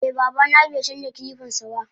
Eh babana baicanja kilipansaba jiya.